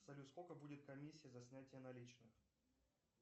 салют сколько будет комиссия за снятие наличных